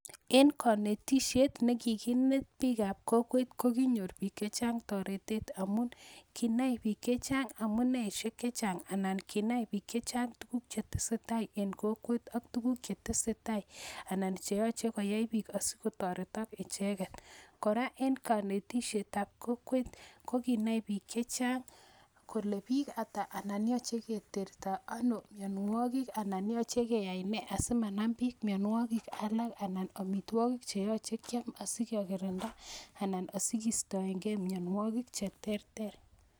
En konetishet nekikimut biik ab kokweet kokinyor biik chechang toretet amun kinai biik chechang amuneishek chechang anan kinai biik chechang tukuk chetesetaa en kokweet ak tukuk chetesetaa anan cheyoche koyai biik asikotoretok icheket, kora en konetishetab kokwet kokinai biik chechang kolee biik ataa anan yoche Keterto ano mionwokik anan yoche keyai nee asimanambiik mionwokik alak anan omitwokik cheyoche kiam asikekirinda anan asikistoenkee mionwokik cheterter.